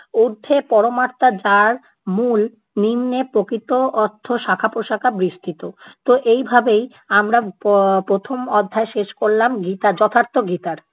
ঊর্ধ্বে পরমাত্মা যার মূল, নিম্নে প্রকৃত অর্থ শাখা প্রশাখা বিস্তৃত। তো এই ভাবেই আমরা প~ প্রথম অধ্যায় শেষ করলাম গীতা যথার্থ গীতার।